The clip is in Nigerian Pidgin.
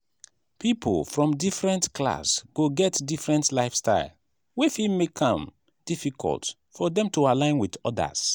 pipo from different class go get different lifestyle wey fit make am difficult for dem to align with odas